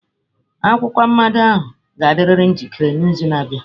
Akwụkwọ mmado ahụ ga-adịriri njikere n'izu na-abịa.